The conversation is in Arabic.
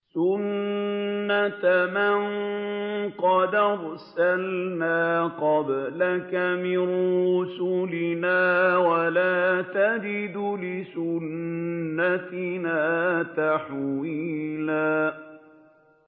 سُنَّةَ مَن قَدْ أَرْسَلْنَا قَبْلَكَ مِن رُّسُلِنَا ۖ وَلَا تَجِدُ لِسُنَّتِنَا تَحْوِيلًا